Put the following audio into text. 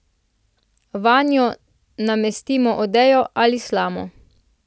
Vanjo namestimo odejo ali slamo.